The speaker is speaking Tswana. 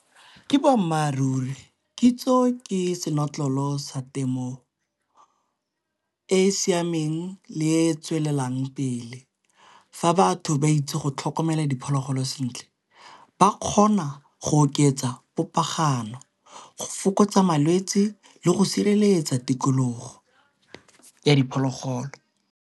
Ke boammaaruri, kitso ke senotlolo sa temo e e siameng le e e tswelelang pele. Fa batho ba itse go tlhoka romela diphologolo sentle ba kgona go oketsa popaganyo go fokotsa malwetsi le go sireletsa tikologo ya diphologolo.